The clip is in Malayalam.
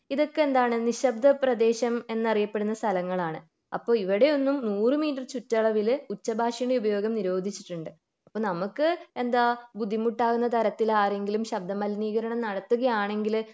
ഇതൊക്കെ എന്താണ് നിശബ്ദ പ്രദേശം എന്ന് അറിയപ്പെടുന്ന സ്ഥലങ്ങളാണ് അപ്പൊ ഇവിടെ ഒന്നും നൂർ മീറ്റർ ചുറ്റളവിൽ ഉച്ചഭാഷണ ഉപയോഗം നിരോധിച്ചിട്ടുണ്ട്. അപ്പൊ നമുക്ക് എന്താ ബുദ്ധിമുട്ടാകുന്ന തരത്തിൽ ആരെങ്കിലും ശബ്ദ മലിനീകരണം നടത്തുകയാണെങ്കിൽ